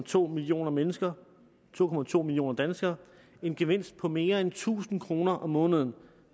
to millioner mennesker to to millioner danskere en gevinst på mere end tusind kroner om måneden